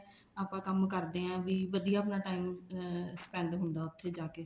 ਆਪਾਂ ਕੰਮ ਕਰਦੇ ਆਂ ਵੀ ਵਧੀਆ ਆਪਣਾ time ਅਮ spend ਹੁੰਦਾ ਉੱਥੇ ਜਾ ਕੇ